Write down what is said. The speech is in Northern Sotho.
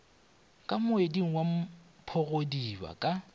ka moeding wa mphogodiba ka